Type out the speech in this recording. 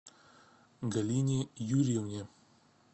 галине юрьевне